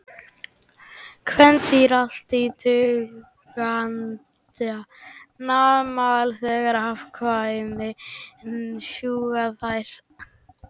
Kvendýr allra tegundanna mala þegar afkvæmin sjúga þær.